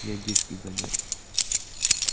я диски занёс